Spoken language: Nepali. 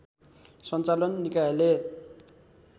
सञ्चालन निकायले